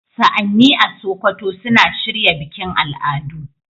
Sa'anni a Sokoto suna shirya bikin al'adu.